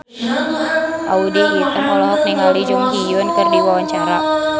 Audy Item olohok ningali Jung Ji Hoon keur diwawancara